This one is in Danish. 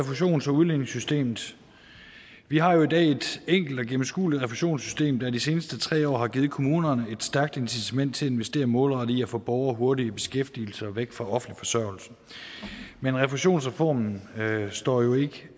refusions og udligningssystemet vi har jo i dag et enkelt og gennemskueligt refusionssystem der de seneste tre år har givet kommunerne et stærkt incitament til at investere målrettet i at få borgere hurtigt i beskæftigelse og væk fra offentlig forsørgelse men refusionsreformen står jo ikke